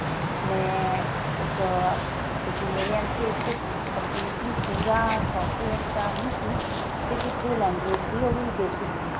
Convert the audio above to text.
ਮੈਂ ਇੱਕ ਕਿਉਂਕਿ ਮੇਰੀ MCA ਚ completely ਪੂਰਾ software ਤਾਂ ਨੀ ਸੀ ਸਿਰਫ ਇੱਕ ਦੋ language ਸੀ ਉਹ ਵੀ basic ਸੀ